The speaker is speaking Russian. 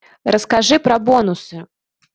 расскажи про бонусы